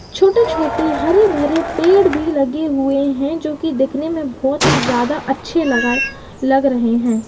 छोटे-छोटे हरे भरे पेड़ भी लगे हुए हैं जोकि दिखने में बहोत ही ज्यादा अच्छे लगाए लग रहे हैं।